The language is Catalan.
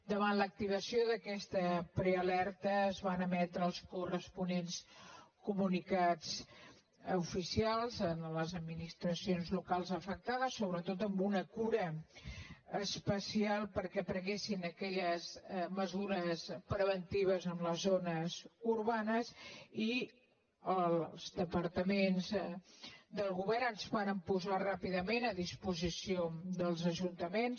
davant l’activació d’aquesta prealerta es van emetre els corresponents comunicats oficials a les adminis·tracions locals afectades sobretot amb una cura espe·cial perquè prenguessin aquelles mesures preventives en les zones urbanes i els departaments del govern ens vàrem posar ràpidament a disposició dels ajunta·ments